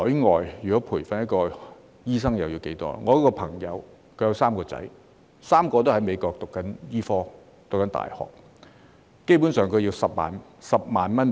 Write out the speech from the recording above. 我的一位朋友有3名兒子 ，3 人都在美國的大學讀醫科，基本上每人每年需要10萬美元。